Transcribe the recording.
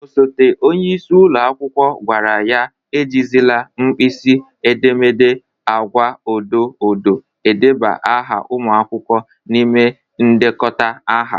Osote onyeisi ụlọ akwụkwọ gwara ya e jizịla nkpịsị edemede agwa odo odo edeba aha ụmụ akwụkwọ n'ime ndekọta aha.